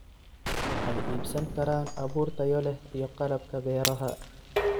Waxay iibsan karaan abuur tayo leh iyo qalabka beeraha.